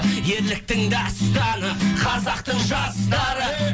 ерліктің дастаны қазақтың жастары